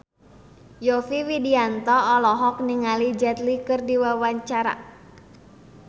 Yovie Widianto olohok ningali Jet Li keur diwawancara